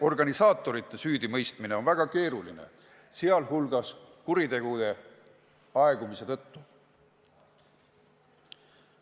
Organisaatorite süüdimõistmine on väga keeruline, sealhulgas kuritegude aegumise tõttu.